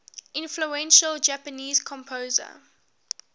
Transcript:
influential japanese composer